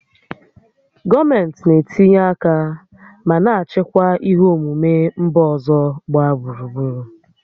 Gọọmentị na-etinye aka ma na-achịkwa ihe omume mba ọzọ gbaa gburugburu